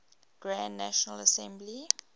grand national assembly